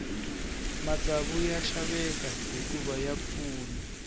matsavu ya xaveka hikuva ya pfuna